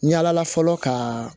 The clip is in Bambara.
Yala fɔlɔ ka